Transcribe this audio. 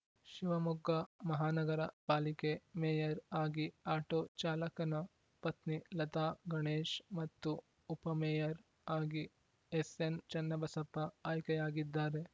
ಶಿವಮೊಗ್ಗ ಮಹಾನಗರ ಪಾಲಿಕೆ ಮೇಯರ್‌ ಆಗಿ ಆಟೋ ಚಾಲಕನ ಪತ್ನಿ ಲತಾ ಗಣೇಶ್‌ ಮತ್ತು ಉಪ ಮೇಯರ್‌ ಆಗಿ ಎಸ್‌ಎನ್‌ಚನ್ನಬಸಪ್ಪ ಆಯ್ಕೆಯಾಗಿದ್ದಾರೆ